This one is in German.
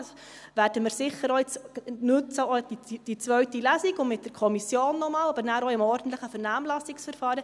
Da werden wir jetzt sicher auch die zweite Lesung nutzen, auch noch einmal mit der Kommission, aber auch im ordentlichen Vernehmlassungsverfahren.